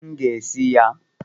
M ga-esi ya